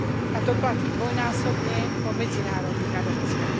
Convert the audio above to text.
A to platí dvojnásobne o medzinárodných adopciách.